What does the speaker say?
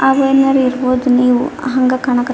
ಆಗೇನಾರು ಇರಬಹುದು ನೀವು ಹಂಗ್ ಕಾಣಕತ್ತಿತಿ.